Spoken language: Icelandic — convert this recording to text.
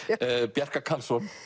Bjarka Karlsson